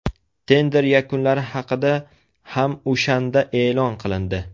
Tender yakunlari haqida ham o‘shanda e’lon qilindi.